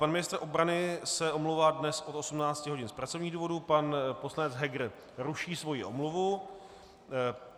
Pan ministr obrany se omlouvá dnes od 18 hodin z pracovních důvodů, pan poslanec Heger ruší svoji omluvu.